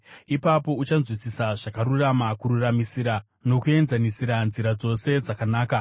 Ipapo uchanzwisisa zvakarurama, kururamisira nokuenzanisira nzira dzose dzakanaka.